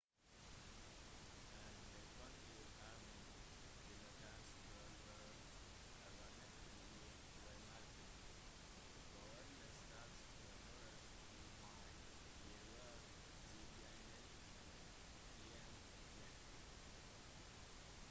en «backcountry permit» tillatelse til å overnatte i villmarken for alle startdatoer i mai vil være tilgjengelig 1. jan